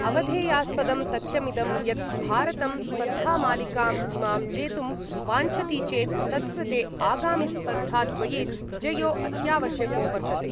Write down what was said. अवधेयास्पदं तथ्यमिदं यत् भारतं स्पर्धामालिकाम् इमां जेतुं वाञ्छति चेत् तत्कृते आगामिस्पर्धाद्वये विजयो अत्यावश्यको वर्तते।